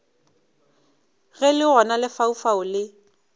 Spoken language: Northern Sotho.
ge le gona lefaufau le